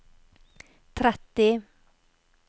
tretti